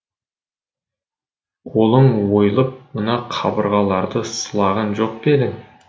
қолың ойылып мына қабырғаларды сылаған жоқ пе ең